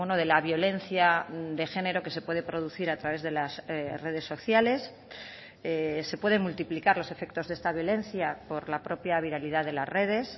de la violencia de género que se puede producir a través de las redes sociales se pueden multiplicar los efectos de esta violencia por la propia viralidad de las redes